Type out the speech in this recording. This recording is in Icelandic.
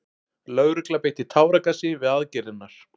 Lögregla beitti táragasi við aðgerðirnar